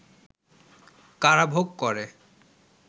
কারাভোগ করে